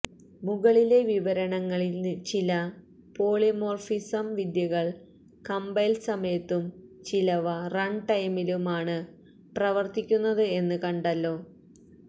മുകളിലെ വിവരണങ്ങളിൽ ചില പോളിമോർഫിസം വിദ്യകൾ കമ്പൈൽ സമയത്തും ചിലവ റൺ ടൈമിലും ആണ് പ്രവർത്തിയ്ക്കുന്നത് എന്ന് കണ്ടല്ലോ